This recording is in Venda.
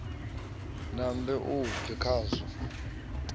nambe a bve khazwo a